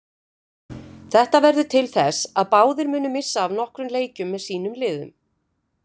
Þetta verður til þess að báðir munu missa af nokkrum leikjum með sínum liðum.